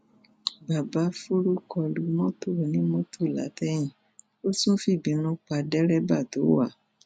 babafuru kọ lu mọtò onímọtò látẹyìn ó tún fìbìínú pa dẹrẹbà tó wà á